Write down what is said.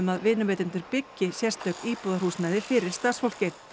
að vinnuveitendur byggi sérstök íbúðarhúsnæði fyrir starfsfólkið